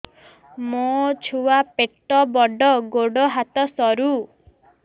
ମୋ ଛୁଆ ପେଟ ବଡ଼ ଗୋଡ଼ ହାତ ସରୁ